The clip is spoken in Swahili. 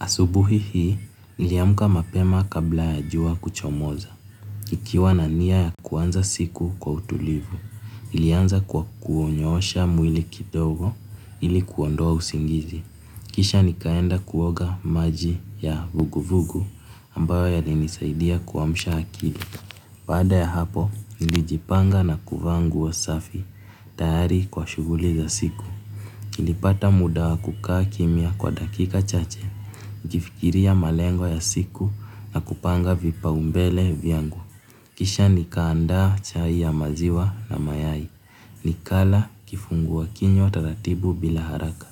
Asubuhi hii, niliamka mapema kabla ya jua kuchomoza. Nikiwa na nia ya kuanza siku kwa utulivu, nilianza kwa kunyoosha mwili kidogo ili kuondoa usingizi. Kisha nikaenda kuoga maji ya vuguvugu ambayo yalinisaidia kuamsha akili. Baada ya hapo, nilijipanga na kuvaa nguo safi tayari kwa shughuli za siku. Nilipata muda wa kukaa kimya kwa dakika chache, nikifikiria malengo ya siku na kupanga vipaumbele vyangu. Kisha nikaanda chai ya maziwa na mayai. Nikala kifungua kinywa taratibu bila haraka.